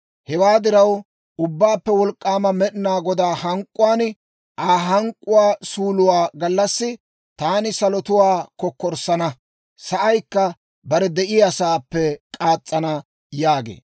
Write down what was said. Hewaa diraw, Ubbaappe Wolk'k'aama Med'inaa Godaa hank'k'uwaan, Aa hank'k'uwaa suuluwaa gallassi taani salotuwaa kokkorssana; sa'aykka bare de'iyaasaappe kaas's'ana» yaagee.